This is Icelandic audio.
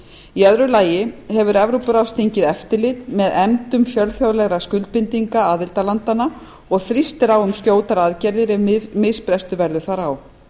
í öðru lagi hefur evrópuráðsþingið eftirlit með efndum fjölþjóðlegra skuldbindinga aðildarlandanna og þrýstir á um skjótar aðgerðir ef misbrestur verður þar á